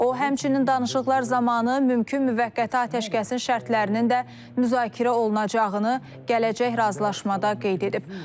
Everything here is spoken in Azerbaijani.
O həmçinin danışıqlar zamanı mümkün müvəqqəti atəşkəsin şərtlərinin də müzakirə olunacağını gələcək razılaşmada qeyd edib.